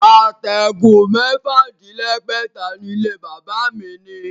Àtẹ̀gùn mẹ́fà-dín- lẹ́gbẹ̀ta ni ilé-bàbá mi ní